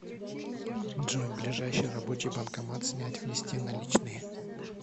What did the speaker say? джой ближайший рабочий банкомат снять внести наличные